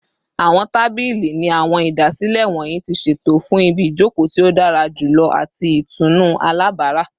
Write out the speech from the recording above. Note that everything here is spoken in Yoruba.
Awọn tabili ni awọn idasile wọnyi ti ṣeto fun ibijoko ti o dara julọ ati itunu alabara